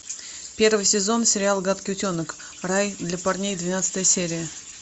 первый сезон сериал гадкий утенок рай для парней двенадцатая серия